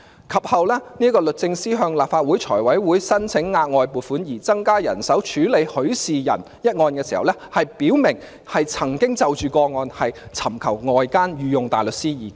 及後，律政司向立法會財務委員會申請額外撥款，以增加人手處理許仕仁一案時表明，曾經就個案尋求外間御用大律師意見。